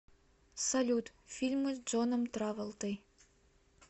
салют фильмы с джоном траволтой